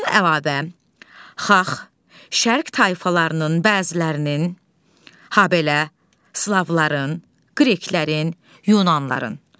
Bundan əlavə, Xax, Şərq tayfalarının bəzilərinin, habelə Slavların, Qreklərin, Yunanların.